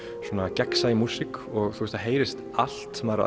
gegnsæ músík og það heyrist allt maður